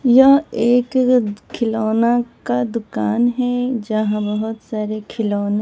यह एक खिलौना का दुकान है यहां बहुत सारे खिलौने--